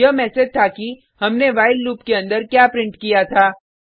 यह मैसेज था कि हमने व्हाइल लूप के अंदर क्या प्रिंट किया था